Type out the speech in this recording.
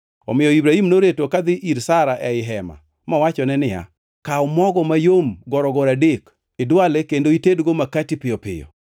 Omiyo Ibrahim noreto kadhi ir Sara ei hema mowachone niya, “Kaw mogo mayom gorogoro adek, idwale kendo itedgo makati piyo piyo.”